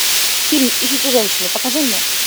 фильм ищите женщину покажи мне